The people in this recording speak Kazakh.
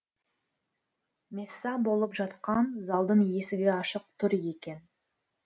месса болып жатқан залдың есігі ашық тұр екен